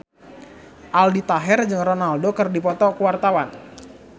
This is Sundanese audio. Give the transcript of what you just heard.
Aldi Taher jeung Ronaldo keur dipoto ku wartawan